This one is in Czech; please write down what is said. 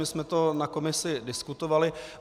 My jsme to na komisi diskutovali.